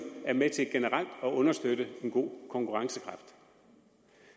er med til generelt at understøtte en god konkurrencekraft